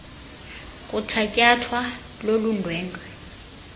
kuthatyathwa lolu ndwendwe